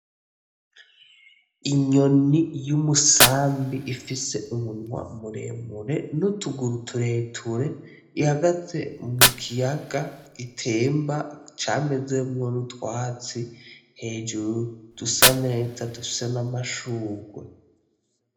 Inyoni y'umusambi ifise umunwa muremure n'utuguru tureture. Ihagaze mu kiyaga gitemba, camezemwo n'utwatsi. Hejuru dusa neza, dusa n'amashurwe.